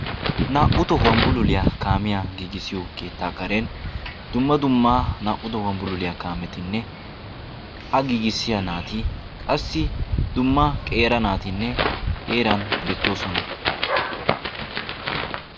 naa''u tohuwaan kaamiyaa giigissiyo keettaa karen dumma duma naa''u tohuwan bulluliyaa kaametinne qassi ha giigissiyaa naati qassi dumma naatinne ha heeran beettoosona.